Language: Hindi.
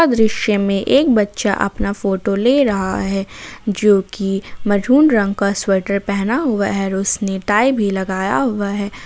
यह दृश्य में एक बच्चा अपना फोटो ले रहा है जो की मैरून रंग का स्वेटर पहना हुआ है और उसने टाई भी लगाया हुआ है।